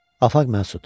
Afaf Məsud.